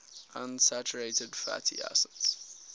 unsaturated fatty acids